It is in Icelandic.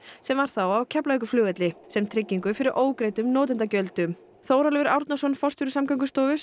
sem var á Keflavíkurflugvelli sem tryggingu fyrir ógreiddum notendagjöldum Þórólfur Árnason forstjóri Samgöngustofu